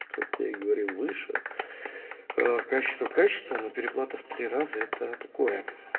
хотя я говорил выше качество качество но переплата в раза это такое